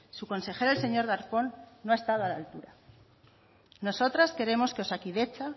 su consejero el señor darpón no ha estado a la altura nosotras queremos que osakidetza